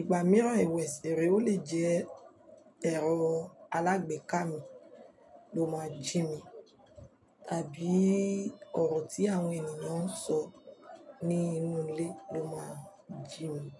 ìgbà mìíràn ẹwẹ sẹ̀re ó lè jẹ́ ẹ̀rọ alágbèéká mi ló máa ń jí mi tàbí ọ̀rọ̀ tí àwọn ènìyàn ń sọ ní inú ilé ló máa ń jí mi.